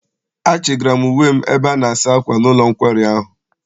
Achị gara m uwe m ebe ana-asa akwa n'ụlọ nkwari ahụ.